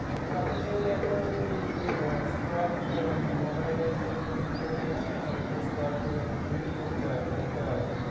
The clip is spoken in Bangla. আর আমি তো ওই একটা ওই যে উম top যে mobile এ যে news গুলো দেখায় না? ওইগুলো scroll করে read করতে হয় পড়তে হয়।